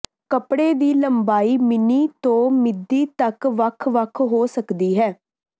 ਕੱਪੜੇ ਦੀ ਲੰਬਾਈ ਮਿਨੀ ਤੋਂ ਮਿਦੀ ਤੱਕ ਵੱਖ ਵੱਖ ਹੋ ਸਕਦੀ ਹੈ